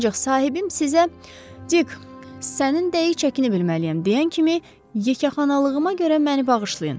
Ancaq sahibim sizə, Dikk, sənin dəqiq çəkinə bilməliyəm deyən kimi yekəxanalığıma görə məni bağışlayın.